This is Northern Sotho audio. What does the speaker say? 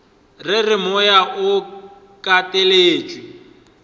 re re moya o kateletšwe